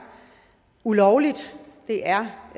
ulovligt